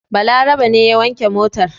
Balarabe ne ya wanke motar.